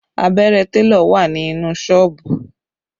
Abẹ́rẹ́ télọ̀ wà ní inú Ṣọ́ọ̀bù